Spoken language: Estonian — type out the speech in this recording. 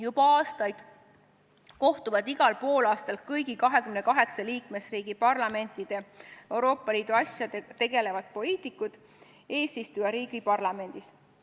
Juba aastaid kohtuvad igal poolaastal kõigi 28 liikmesriigi parlamentide Euroopa Liidu asjadega tegelevad poliitikud eesistujariigi parlamendis.